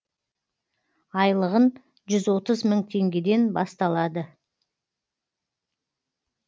айлығын жүз отыз мың теңгеден басталады